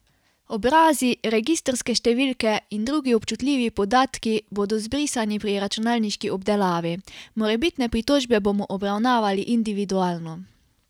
Obrazi, registrske številke in drugi občutljivi podatki bodo zbrisani pri računalniški obdelavi, morebitne pritožbe bomo obravnavali individualno.